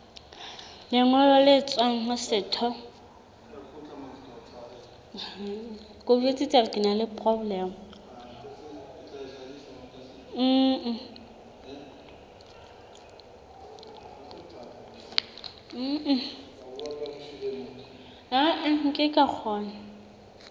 lengolo le tswang ho setho